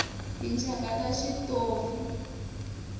tinxaka ta switofi